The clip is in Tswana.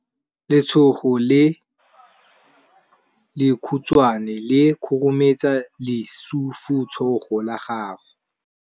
Letsogo le lekhutshwane le khurumetsa lesufutsogo la gago.